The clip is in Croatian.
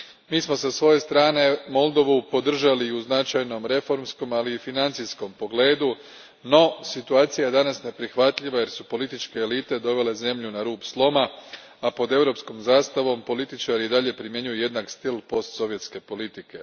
Mi smo sa svoje strane Moldovu podržali u značajnom reformskom ali i u financijskom pogledu, no situacija je danas neprihvatljiva jer su političke elite dovele zemlju na rub sloma, a pod europskom zastavom političari i dalje primjenjuju jednak stil postsovjetske politike.